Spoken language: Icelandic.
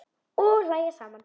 Og hlæja saman.